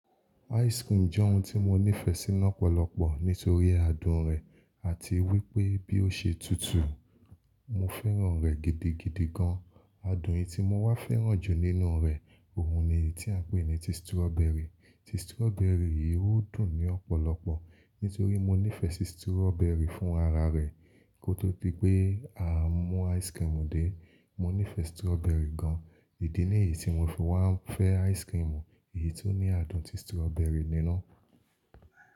Ice cream jẹ́ oun tí mo nífẹ̀ẹ́ sí lọ́pọ̀lọ́pọ̀ nítorí adùn rẹ̀ àti wípé bí ó ṣe tutù. Mo fẹ́ràn rẹ̀ gidigidi gan. Adùn yìí tí mo wá fẹ́ràn jù nínú rẹ̀, oun ni èyí tí à ń pè ní ti strawberry. Ti strawberry yìí ó dùn ní ọ̀pọ̀lọ̀pọ̀. Nítorí mo nífẹ̀ẹ́ sí strawberry fún ara rẹ̀, kó tó di a pé à ń mú ice cream dé, mo nífẹ̀ẹ́ strawberry gan. Ìdí nìyí tí mo fi wá ń fẹ́ ice cream yìí tó ní adùn ti strawberry nínú.